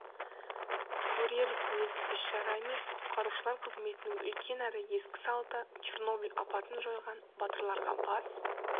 көрер көз іс-шара емес құтқарушылар қызметінің үлкен әрі ескі салты черноболь апатын жойған батырларға бас